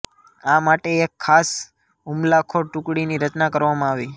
આ માટે એક ખાસ હુમલાખોર ટુકડીની રચના કરવામાં આવી